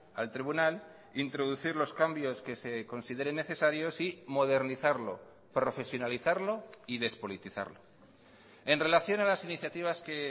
al tribunal introducir los cambios que se consideren necesarios y modernizarlo profesionalizarlo y despolitizarlo en relación a las iniciativas que